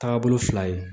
Taagabolo fila ye